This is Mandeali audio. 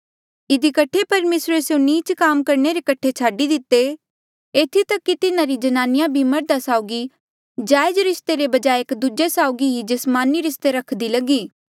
इधी कठे परमेसरे स्यों नीच काम करणे रे कठे छाडी दिते एथी तक कि तिन्हारी ज्नानिया भी मर्धा साउगी जायज रिस्ते रे बजाय एक दूजे साउगी ही जिस्मानी रिस्ते रखदी लगी